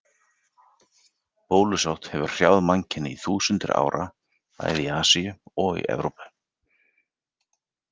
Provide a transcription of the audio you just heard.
Bólusótt hefur hrjáð mannkynið í þúsundir ára, bæði í Asíu og Evrópu.